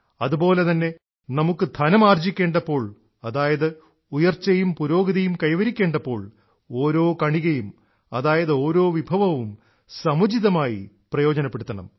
അതുപോലെതന്നെ നമുക്കു ധനം ആർജിക്കേണ്ടപ്പോൾ അതായത് ഉയർച്ചയും പുരോഗതിയും കൈവരിക്കേണ്ടപ്പോൾ ഓരോ കണികയും അതായത് ഓരോ വിഭവവും സമുചിതമായി പ്രയോജനപ്പെടുത്തണം